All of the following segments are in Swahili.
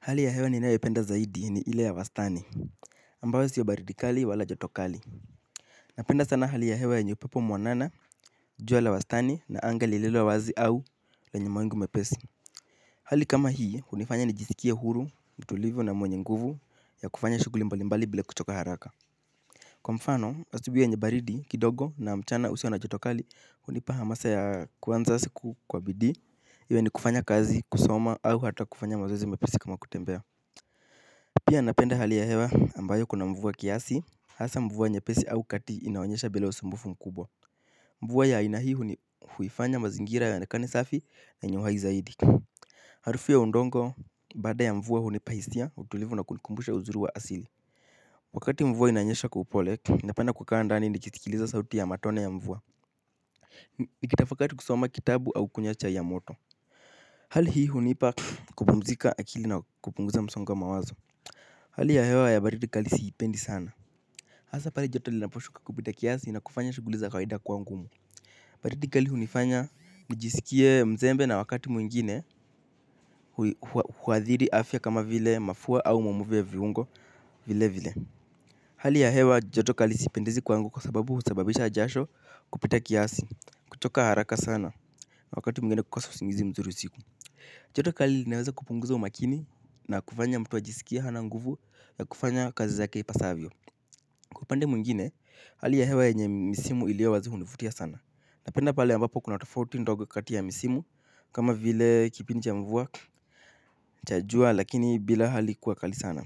Hali ya hewa ninayo ipenda zaidi ni ile ya wastani ambayo sio baridi kali wala joto kali. Napenda sana hali ya hewa yenye upepo mwanana, jua la wastani na anga lililowazi au lenye mawingu mepesi. Hali kama hii unifanya nijisikie huru, mtulivu na mwenye nguvu ya kufanya shuguli mbali mbali bila kuchoka haraka. Kwa mfano, asubui yenye baridi kidogo na mchana usio na joto kali unipa hamasa ya kuanza siku kwa bidii iwe ni kufanya kazi kusoma au hata kufanya mazoezi mepesi kama kutembea. Pia anapenda hali ya hewa ambayo kuna mvua kiasi. Hasa mvua nyepesi au kati inaonyesha bila usumbufu mkubwa. Mvua ya aina hi hu ni huifanya mazingira ya yaojekane safi na yenye uhai zaidi harufu ya udongo baada mvua hunupa hisia utulivu na kunikumbusha uzuri wa asili. Wakati mvua inanyesha kwa upole, napenda kukaa ndani nikisikiliza sauti ya matone ya mvua. Nikitafakati kusoma kitabu au kunywa cha ya moto. Hali hii hunipa kupumzika akili na kupunguza msongo wa mawazo. Hali ya hewa ya baridi kali siipendi sana. Hasa pale joto li naposhuka kupita kiasi na kufanya shuguli za kawaida kwa ngumu. Baridi kali unifanya nijisikie mzembe na wakati mwingine huadhiri afya kama vile mafua au mamuvu ya viungo vile vile. Hali ya hewa joto kali siipendezi kwa ngumu kwa sababu usababisha jasho kupita kiasi kutoka haraka sana na wakati mwingine kukosa usingizi mzuru usiku. Joto kali linaweza kupunguza umakini na kufanya mtu ajisikie hana nguvu ya kufanya kazi zake ipasavyo upande mwingine hali ya hewa yenye misimu iliyowazi hunivutia sana napenda pale ambapo kuna tofauti ndogo kati ya misimu kama vile kipindi cha mvua cha jua lakini bila hali kuwa kali sana.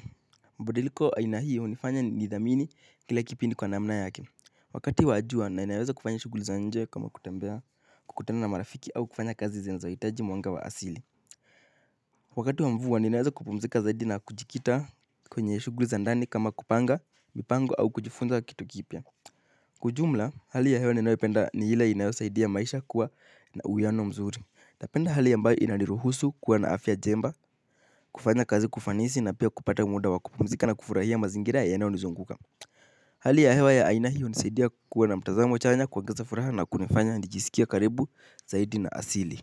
Mbadiliko aina hii unifanya nidhamini kila kipindi kwa namna yake wakati wa jua naweza kufanya shugulu za nje kama kutembea kukutana na marafiki au kufanya kazi zenye zinahitaji mwanga wa asili. Wakati wa mvua ninaweza kupumzika zaidi na kujikita kwenye shuguli za ndani kama kupanga, mipango au kujifunza kitu kipia kwa ujumla hali ya hewa ninayopenda ni ile inayosaidia maisha kuwa na uiwiano mzuri napenda hali ambayo inaniruhusu kuwa na afya jemba kufanya kazi kwa ufanisi na pia kupata muda wa kupumzika na kufuraia mazingira yanayo nizunguka. Hali ya hewa ya aina hiyo hunisaidia kuwa na mtazamo chanya kuongeza furaha na kunifanya nijisikie karibu zaidi na asili.